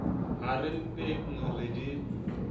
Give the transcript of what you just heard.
ha re mpeng re di